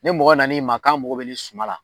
Ne mɔgɔ nan ma ko mɔgɔ bɛ suma la